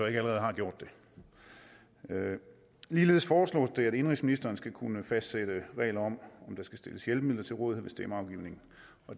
allerede har gjort det ligeledes foreslås det at indenrigsministeren skal kunne fastsætte regler om der skal stilles hjælpemidler til rådighed ved stemmeafgivningen